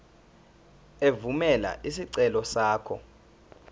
evumela isicelo sakho